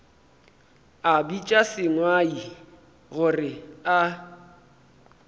a bitša sengwai gore a